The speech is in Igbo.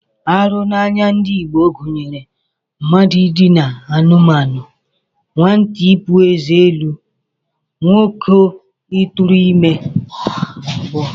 Arụ n'anya ndị Igbo gụnyere mmadụ idina anụmanụ, nwata ibu ụzọ pụọ eze elu, nwoke ịtụrụ ime, dgz